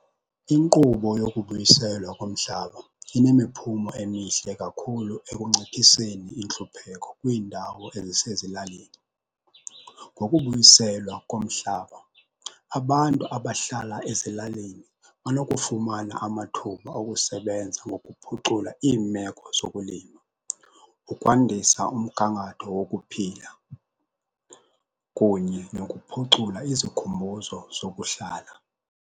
Inkqubo yokubuyiselwa komhlaba inemiphumo emihle kakhulu ekunciphiseni intlupheko kwiindawo ezisezilalini. Ngokubuyiselwa komhlaba, abantu abahlala ezilalini banokufumana amathuba okusebenza ngokuphucula iimeko zokulima, ukwandisa umgangatho wokuphila kunye nokuphucula izikhumbuzo zokuhlala.